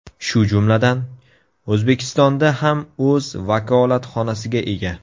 Shu jumladan, O‘zbekistonda ham o‘z vakolatxonasiga ega.